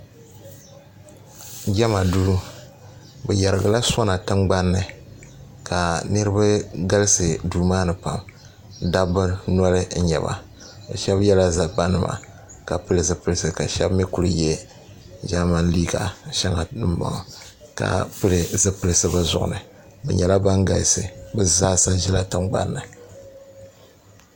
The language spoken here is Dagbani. jama do be yɛrigila sona tiŋgbani ka niriba galisi do maa ni pam dabi noli n nyɛba shɛbi yɛla zabanima ka pɛli zipɛlisi kashɛbi mi kuli yɛ ʒɛmani liga ka pɛli zipɛlisi be zuɣini bɛ nyɛla ban galisi bɛ zaasa ʒɛla tiŋgbani